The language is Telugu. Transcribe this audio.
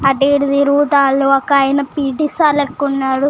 అటు ఇటు తిరుగుతా ఒక ఆయన పేటి సర్ లెక్క వున్నాడు.